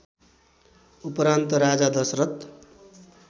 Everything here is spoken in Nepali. उपरान्त राजा दशरथ